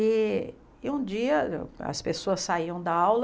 E e um dia as pessoas saíam da aula...